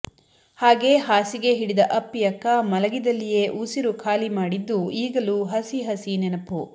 ಹಾಗೆ ಹಾಸಿಗೆ ಹಿಡಿದ ಅಪ್ಪಿಯಕ್ಕ ಮಲಗಿದಲ್ಲಿಯೇ ಉಸಿರು ಖಾಲಿ ಮಾಡಿದ್ದು ಈಗಲೂ ಹಸಿ ಹಸಿ ನೆನಪು